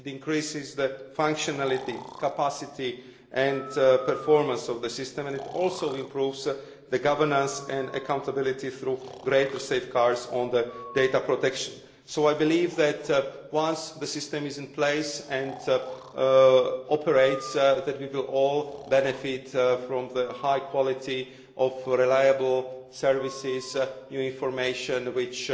It increases the functionality, capacity and performance of the system and it also improves governance and accountability, through greater safeguards on data protection. So I believe that, once the system is in place and operational, we will all benefit from the high quality of reliable services and the new information which